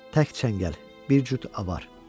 Tək çəngəl, bir cüt avar.